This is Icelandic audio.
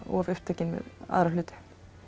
of upptekin við aðra hluti